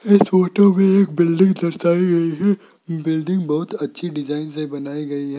इस फोटो में एक बिल्डिंग दरशाई गई है बिल्डिंग बहुत अच्छी डिजाइन से बनाई गई है।